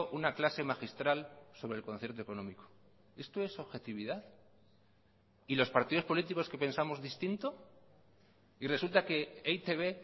una clase magistral sobre el concierto económico esto es objetividad y los partidos políticos que pensamos distinto y resulta que e i te be